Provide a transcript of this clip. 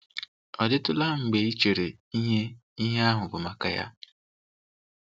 Ọ dịtụla mgbe i cheere ihe ihe ahụ bụ maka ya?